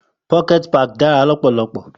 Pocket Parks are so fun